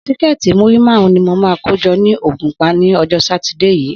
Síkẹ́ẹ̀tì múrí márùn-ún ni mo máa kó jọ ní Ògùnpa ní ọjọ́ Sátidé yìí.